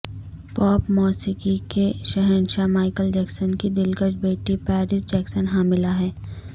pope موسیقی کے شہنشاہ مائیکل جیکسن کی دلکش بیٹی پیرس جیکسن حاملہ ہے